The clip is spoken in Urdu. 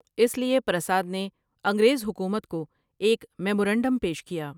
اس لیے پرساد نے انگریز حکومت کو ایک میمورنڈم پیش کیا ۔